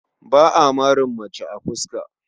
Ba a marin mace a fuska.